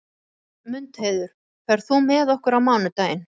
Mundheiður, ferð þú með okkur á mánudaginn?